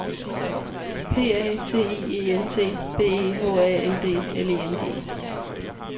P A T I E N T B E H A N D L I N G